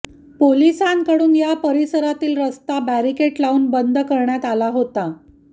पोलिसांकडून या परिसरातील रस्ता बॅरिकेट लावून बंद करण्यात आला होता